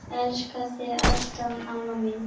Elska þig alltaf, amma mín.